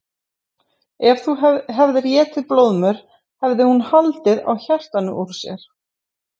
Ef þú hefðir étið blóðmör hefði hún haldið á hjartanu úr sér.